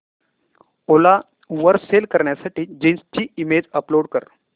ओला वर सेल करण्यासाठी जीन्स ची इमेज अपलोड कर